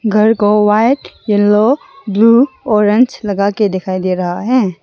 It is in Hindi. घर को व्हाइट येलो ब्लू ऑरेंज लगा के दिखाई दे रहा है।